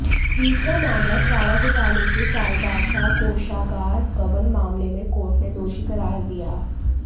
तीसरा मामलाः चारा घोटाले के चाईबासा कोषागार गबन मामले में कोर्ट ने दोषी करार दिया